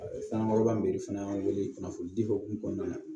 An kɔrɔba min be fana wele kunnafonidi o kun kɔnɔna na